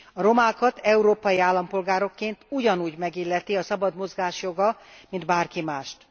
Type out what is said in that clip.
A romákat európai állampolgárokként ugyanúgy megilleti a szabad mozgás joga, mint bárki mást.